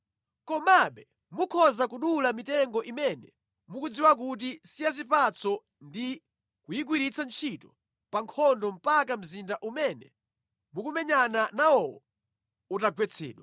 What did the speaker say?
Komabe mukhoza kudula mitengo imene mukudziwa kuti si ya zipatso ndi kuyigwiritsa ntchito pa nkhondo mpaka mzinda umene mukumenyana nawowo utagwetsedwa.